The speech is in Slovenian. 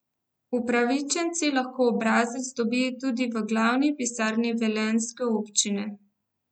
Upravičenci lahko obrazec dobijo tudi v glavni pisarni velenjske občine.